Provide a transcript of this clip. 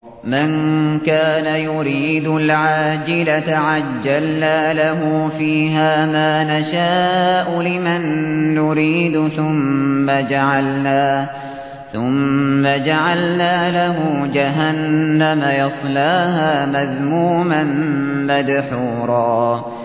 مَّن كَانَ يُرِيدُ الْعَاجِلَةَ عَجَّلْنَا لَهُ فِيهَا مَا نَشَاءُ لِمَن نُّرِيدُ ثُمَّ جَعَلْنَا لَهُ جَهَنَّمَ يَصْلَاهَا مَذْمُومًا مَّدْحُورًا